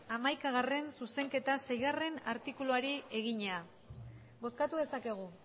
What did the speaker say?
hamaikagarrena zuzenketa seigarrena artikuluari egina bozkatu dezakegu